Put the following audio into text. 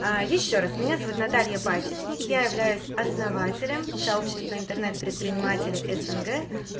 ещё раз меня зовут наталья пасечник я являюсь основателем сообщества интернет предпринимателей снг